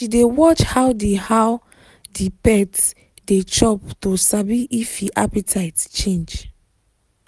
she dey watch how the how the pet dey chop to sabi if e appetite change